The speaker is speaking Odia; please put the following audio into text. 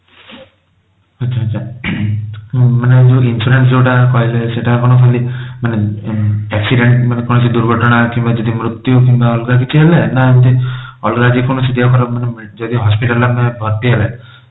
ଆଚ୍ଛା ଆଚ୍ଛା ମାନେ ଆଉ ଯୋଊ insurance ଯୋଉଟା କହିଲେ ସେଟା କଣ ଖାଲି ମାନେ accident ମାନେ କୌଣସି ଦୁର୍ଘଟଣା କିମ୍ବା ଯଦି ମୃତ୍ୟୁ କିମ୍ବା ଅଲଗା କିଛି ହେଲେ ନା ଏମିତି ଅଲଗା ଯଦି କୌଣସି ଦେହ ଖରାପ ମାନେ ଯଦି hospital ରେ ଆମେ ଭର୍ତ୍ତି ହେଲେ